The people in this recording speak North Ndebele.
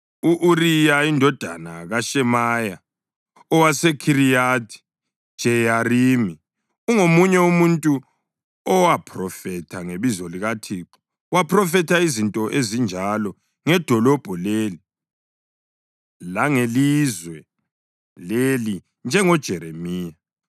(U-Uriya indodana kaShemaya owaseKhiriyathi-Jeyarimi ungomunye umuntu owaphrofetha ngebizo likaThixo: waphrofitha izinto ezinjalo ngedolobho leli langelizwe leli njengoJeremiya.